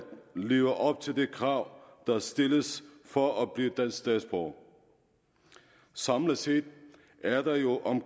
leve op til de krav der stilles for at blive danske statsborgere samlet set